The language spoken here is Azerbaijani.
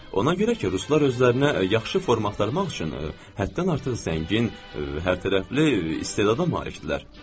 Ona görə ki, ruslar özlərinə yaxşı forma axtarmaq üçün həddən artıq zəngin, hərtərəfli, istedada malikdirlər.